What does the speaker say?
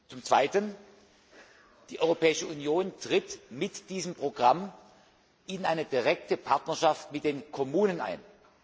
Zum Zweiten Die Europäische Union tritt mit diesem Programm in eine direkte Partnerschaft mit den Kommunen ein.